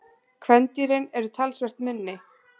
kvendýrin eru talsvert minni